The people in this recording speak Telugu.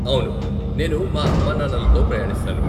అవును, నేను మా అమ్మానాన్నలతో ప్రయాణిస్తాను.